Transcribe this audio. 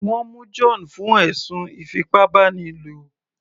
Wọ́n mú John fún ẹ̀sùn ìfipábánilo